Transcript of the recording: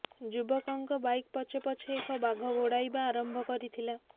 ଯୁବକଙ୍କ ବାଇକ ପଛେ ପଛେ ଏକ ବାଘ ଗୋଡ଼ାଇବା ଆରମ୍ଭ କରିଥିଲା